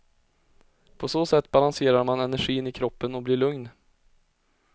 På så sätt balanserar man energin i kroppen och blir lugn.